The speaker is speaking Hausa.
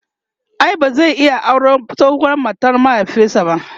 ai ba zai iya auran tsohuwar matar mahaifinsa ba?